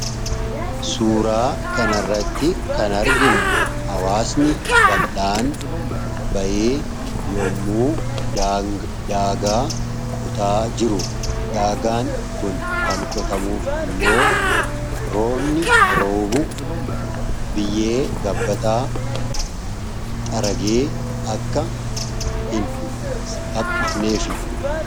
suuraa kanarratti kan arginu hawaasni ballaan bayee yommuu daagaa qotaa jiru daagaan kun kan qotamuuf immoo roobni roobu biyyee gabbataa haree akka hin hapifneef